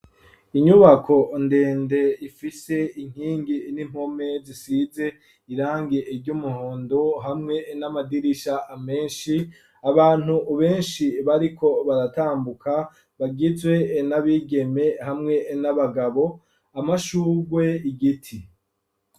Inyubako ndende ifise inkingi n'impome zisize irangi ry'umuhondo, hamwe n'amadirisha menshi, abantu benshi bariko baratambuka, bagizwe n'abigeme hamwe n'abagabo, amashugwe, igiti.